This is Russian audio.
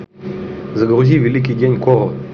загрузи великий день коро